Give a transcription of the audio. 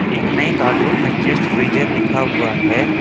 एक नई कार्टून में जस्ट फ्रीज़र लिखा हुआ है।